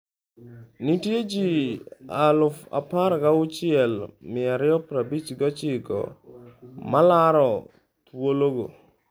Nitie ji 16,259 ma laro thuologo